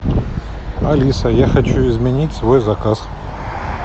алиса я хочу изменить свой заказ